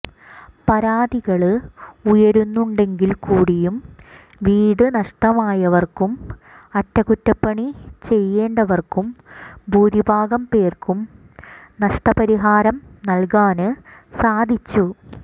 പരാതികള് ഉയരുന്നുണ്ടെങ്കില്കൂടിയും വീടു നഷ്ടമായവര്ക്കും അറ്റകുറ്റപ്പണി ചെയ്യേണ്ടവര്ക്കും ഭൂരിഭാഗം പേര്ക്കും നഷ്ടപരിഹാരം നല്കാന് സാധിച്ചു